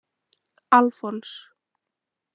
Alfons